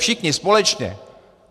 Všichni společně.